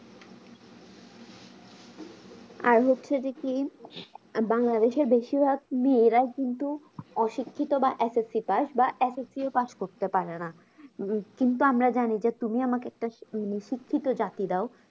আর হচ্ছে যে কি বাংলাদেশের বেশির ভাগ মেয়েরা কিন্তু অশিক্ষিত বা SSCpass বা SSC ও pass করতে পারেনা কিন্তু আমরা জানি যে তুমি আমাকে একটা মানে শিক্ষিত জাতি দাও